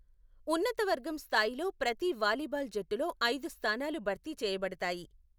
ఉన్నత వర్గం స్థాయిలో ప్రతి వాలీబాల్ జట్టులో ఐదు స్థానాలు భర్తీ చేయబడతాయి.